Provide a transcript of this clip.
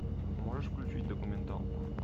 можешь включить документалку